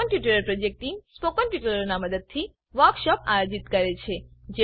spoken tutorial project team spoken ટ્યુટોરીયલોનાં મદદથી વર્કશોપોનું આયોજન કરે છે